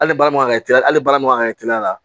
Hali baara ma kan ka teliya hali baara ma ka kɛ teliya la